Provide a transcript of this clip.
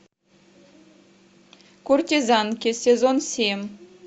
куртизанки сезон семь